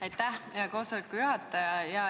Aitäh, koosoleku juhataja!